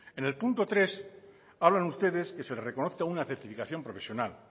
en el punto tres hablan ustedes que se le reconozca una certificación profesional